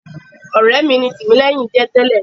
Ọ̀rẹ́ mi ni Tìmílẹ́hìn jẹ́ tẹ́lẹ̀.